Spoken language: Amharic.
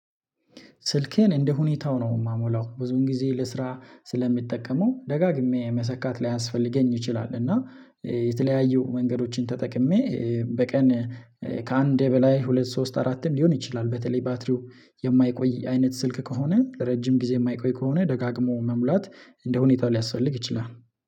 ስልኬን እንደ ሁኔታው ነው የማሞላው ብዙን ጊዜ ለስራ ስለሚጠቀመው ደጋግሜ መሰካት ላያስፈልገኝ ይችላል። እና የተለያዩ መንገዶችን ተጠቅሜ በቀን ከአንዴ በላይ ሁለት ሶስት አራትም ሊሆን ይችላል። በተለይ ባትሪው የማይቆይ አይነት ስልክ ከሆነ ለረጅም ጊዜ የማይቆይ ከሆነ ደጋግሞ መሙላት እንደ ሁኔታ ሊያስፈልግ ይችላል።